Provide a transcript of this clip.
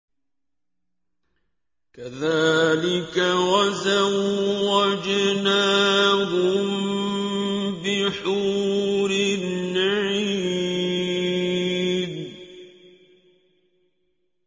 كَذَٰلِكَ وَزَوَّجْنَاهُم بِحُورٍ عِينٍ